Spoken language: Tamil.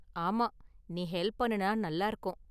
ஆமா, நீ ஹெல்ப் பண்ணுனா நல்லா இருக்கும்.